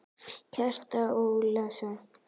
Kjartan Ólason